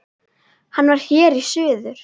Hann var hér í suður.